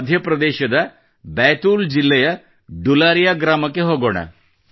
ಮಧ್ಯಪ್ರದೇಶದ ಬೈತೂಲ್ ಜಿಲ್ಲೆಯ ಡುಲಾರಿಯಾ ಗ್ರಾಮಕ್ಕೆ ಹೋಗೋಣ